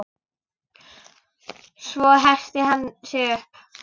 Svo herti hann sig upp.